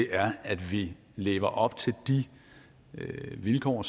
er at vi lever op til de vilkår